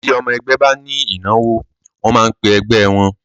Ti ọmọ ẹgbẹ́ ba ní ìnáwó, wọ́n máa ń pẹ ẹgbẹ́ wọ́n.